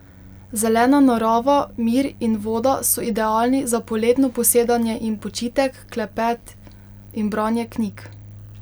Zelena narava, mir in voda so idealni za poletno posedanje in počitek, klepet in branje knjig.